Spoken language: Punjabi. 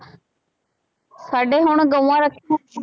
ਸਾਡੇ ਹੁਣ ਗਊਂਆਂ ਰੱਖੀਆਂ